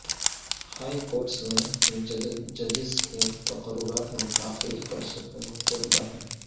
high courts میں ججس کے تقررات میں تاخیر پر سپریم کورٹ برہم